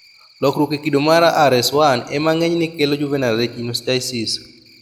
Lokruok e kido mar RS1 ema ng'enyne kelo juvenile retinoschisis